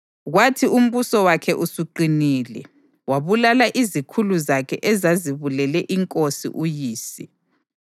Kwathi umbuso wakhe usuqinile, wabulala izikhulu zakhe ezazibulele inkosi uyise.